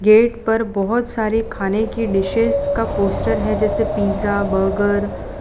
Gate पर बहुत सारे खाने की डिशेस का पोस्टर है जैसे पिज़्ज़ा बर्गर ।